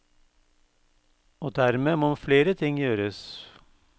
Og dermed må flere ting gjøres.